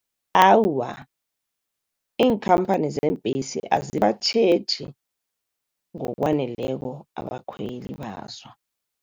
Awa, iinkhamphani zeembesi azibatjheji ngokwaneleko abakhweli bazo.